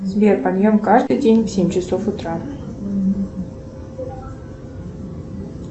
сбер подъем каждый день в семь часов утра